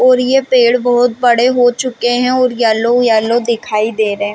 और यह पेड़ बहुत बड़े हो चुके हैं और येलो येलो दिखाई दे रहे हैं।